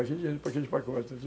Aqui dinheiro, aqui de pacote.